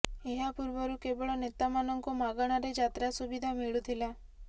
ଏହା ପୂର୍ବରୁ କେବଳ ନେତାମାନଙ୍କୁ ମାଗଣାରେ ଯାତ୍ରା ସୁବିଧା ମିଳୁଥିଲା